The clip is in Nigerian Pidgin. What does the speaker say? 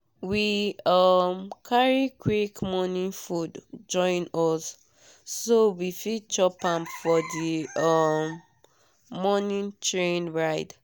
we um carry quick morning food join us so we fit chop am for the um morning train ride.